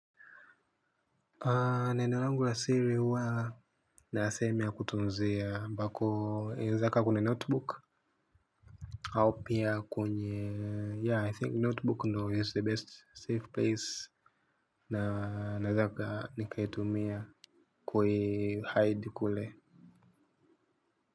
Neno rangu la siri huwa nasemi ya kutunzia mbako inaezaka kwene notebook Aopia kwenye ya I think notebook ndo is the best safe place na na zaka nikaitumia kui hide kule.